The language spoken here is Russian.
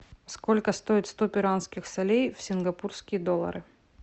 сколько стоит сто перуанских солей в сингапурские доллары